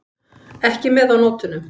Ekki með á nótunum.